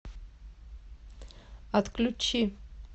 отключи